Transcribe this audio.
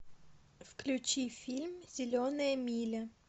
включи фильм зеленая миля